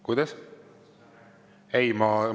Kuidas?